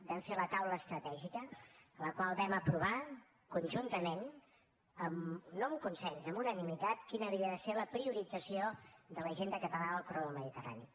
vam fer la taula estratègica en la qual vam aprovar conjuntament no amb consens amb unanimitat quina havia de ser la priorització de l’agenda catalana del corredor mediterrani